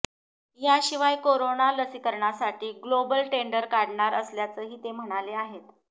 याशिवाय कोरोना लसीकरणासाठी global tender काढणार असल्याचंही ते म्हणाले आहेत